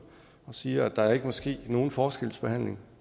og siger at der ikke må ske nogen forskelsbehandling